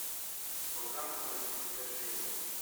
показывай искажение